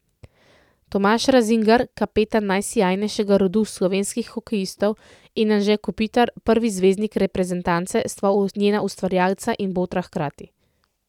Tomaž Razingar, kapetan najsijajnejšega rodu slovenskih hokejistov, in Anže Kopitar, prvi zvezdnik reprezentance, sta njena ustvarjalca in botra hkrati.